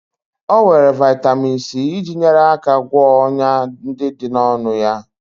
O were vitamin C iji nyere aka gwọọ ọnyá ndị dị n'ọnụ ya.